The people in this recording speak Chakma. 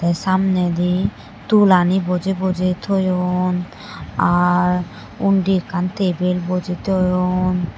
te samnedi tul ani boje boje toyon aar undi ekkan tebel boje toyon.